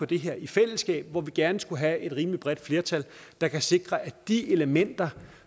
det her i fællesskab hvor vi gerne skulle have et rimelig bredt flertal der kan sikre at de elementer